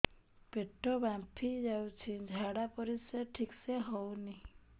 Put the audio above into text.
ପେଟ ଫାମ୍ପି ଯାଉଛି ଝାଡ଼ା ପରିସ୍ରା ଠିକ ସେ ହଉନି